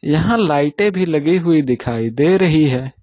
यहां पर लाइटें भी लगी हुई दिखाई दे रही हैं।